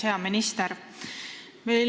Hea minister!